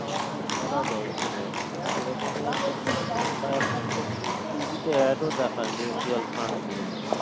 করা যাই এখানেও সেই রকমই আর কি শুনে ছিলাম বা এখন তো TV তে add ও দেখায় mutual fund নিয়ে অনেক